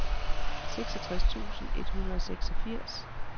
seksogtres tusind et hundrede og seksogfirs